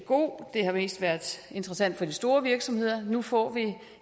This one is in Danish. god det har mest været interessant for de store virksomheder nu får vi